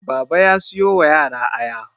Baba ya siyo wa yara Aya